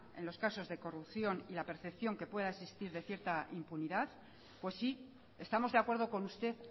en los casos de corrupción y la percepción que pueda existir de cierta impunidad pues sí estamos de acuerdo con usted